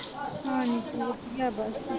ਹਾਂਜੀ ਵਧੀਆ ਬਸ।